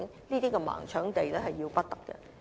這種"盲搶地"的做法是要不得的。